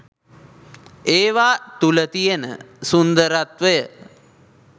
ඒවා තුල තියෙන සුන්දරත්වය.